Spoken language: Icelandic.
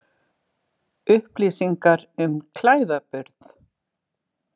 Upplýsingar um klæðaburð.